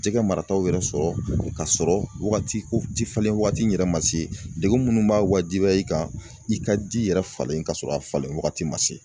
Jɛgɛ marataw yɛrɛ sɔrɔ kasɔrɔ wagati ko ji falen waati in yɛrɛ ma se degun minnu b'a wajibiya i kan i ka di yɛrɛ falen kasɔrɔ a falen wagati ma se.